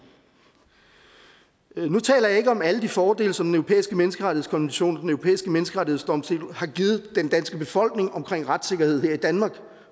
nu taler jeg ikke om alle de fordele som den europæiske menneskerettighedskonvention og den europæiske menneskerettighedsdomstol har givet den danske befolkning omkring retssikkerhed her i danmark